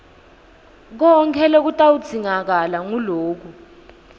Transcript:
konkhe lokutawudzingakala nguloku